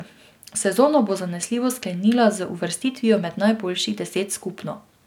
Sezono bo zanesljivo sklenila z uvrstitvijo med najboljših deset skupno.